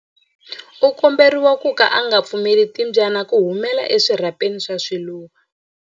U komberiwa ku ka u nga pfumeleli timbyana ku humela eswirhapeni swa swiluva.